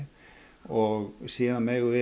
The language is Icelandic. og síðan